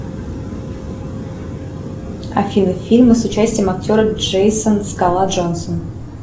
афина фильмы с участием актера джейсон скала джонсон